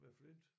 Med flint